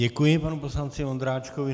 Děkuji panu poslanci Vondráčkovi.